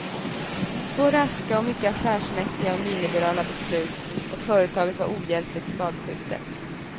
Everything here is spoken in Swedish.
Två raska och mycket affärsmässiga och nyliberala beslut och företaget var ohjälpligt skadskjutet.